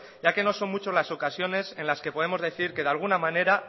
ya que no son muchas las ocasiones en las que podemos decir que de alguna manera